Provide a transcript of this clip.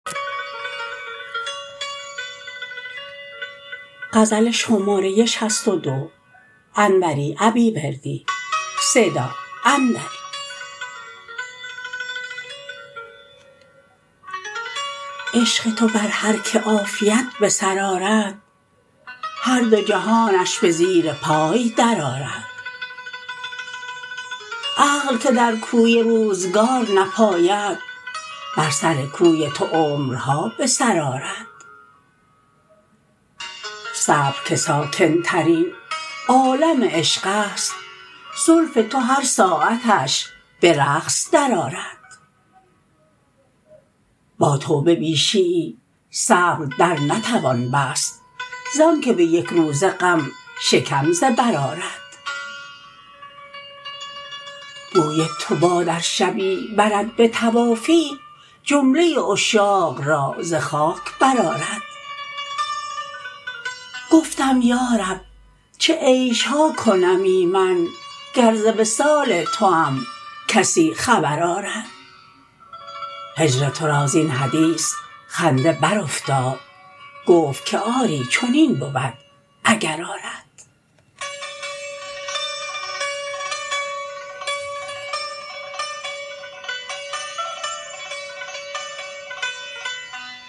عشق تو بر هرکه عافیت به سر آرد هر دو جهانش به زیر پای درآرد عقل که در کوی روزگار نپاید بر سر کوی تو عمرها به سر آرد صبر که ساکن ترین عالم عشق است زلف تو هر ساعتش به رقص درآرد با توبه بیشیی صبر درنتوان بست زانکه به یک روزه غم شکم ز بر آرد بوی تو باد ار شبی برد به طوافی جمله عشاق را ز خاک برآرد گفتم یارب چه عیشها کنمی من گر ز وصال توام کسی خبر آرد هجر ترا زین حدیث خنده برافتاد گفت که آری چنین بود اگر آرد